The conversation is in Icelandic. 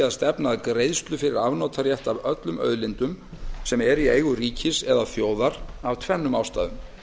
að stefna að greiðslu fyrir afnotarétt af öllum auðlindum sem eru í eigu ríkis eða þjóðar af tvennum ástæðum